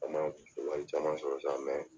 An ma wari caman sɔrɔ sa mɛ